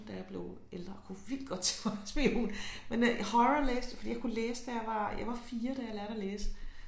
Da jeg blev ældre kunne vildt godt tænke mig at være spion men øh horror læste jeg fordi jeg kunne læse da jeg var jeg var 4 da jeg lærte at læse